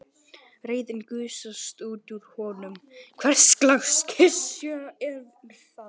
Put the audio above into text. Reiðin gusast út úr honum: Hverslags klisja er það?